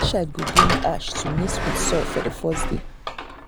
each child go bring ash to mix with soil for the first day.